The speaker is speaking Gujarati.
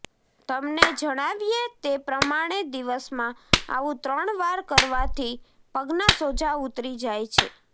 તમને જણાવીએ તે પ્રમાણે દિવસમાં આવું ત્રણ વાર કરવાથી પગના સોજા ઉતરી જાય છે